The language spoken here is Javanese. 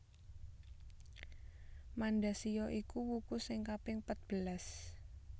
Mandasiya iku wuku sing kaping patbelas